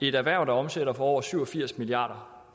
et erhverv der omsætter for over syv og firs milliard